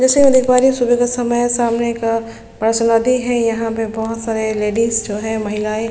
जैसे की मैं देख पा रही हूँ सुबह का समय है सामने एक पास नदी है यहाँ पे बहुत सारी लेडीज जो है महिलायें --